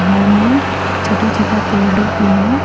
घर में छोटा छोटा पेड़ लोग भी है।